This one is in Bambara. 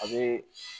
A bɛ